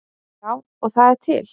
Já, og það er til.